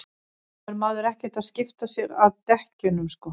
þá er maður ekkert að skipta sér að dekkjunum sko